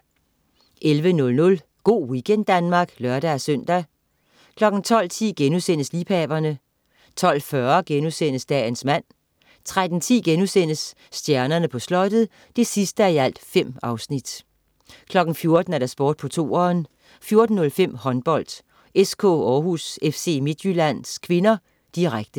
11.00 Go' weekend Danmark (lør-søn) 12.10 Liebhaverne* 12.40 Dagens mand* 13.10 Stjernerne på Slottet 5:5* 14.00 Sport på 2'eren 14.05 Håndbold: SK Århus-FC Midtjylland (k), direkte